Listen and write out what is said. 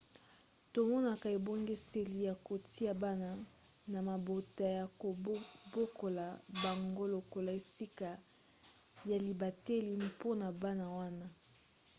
tomonaka ebongiseli ya kotia bana na mabota ya kobokola bango lokola esika ya libateli mpona bana wana